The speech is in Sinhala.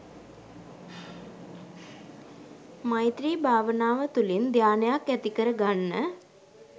මෛත්‍රී භාවනාව තුළින් ධ්‍යානයක් ඇති කරගන්න